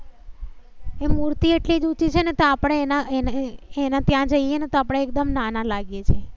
એ મૂર્તિ એટલી ઉચી છે ને તો આપણે એના એને એના ત્યાં જઈએ ને તો આપણે એકદમ નાના લાગે છીએ